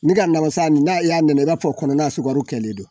Ne ka nagosan nin na i y'a nɛnɛ i b'a fɔ kɔnɔna sukaro kɛlen don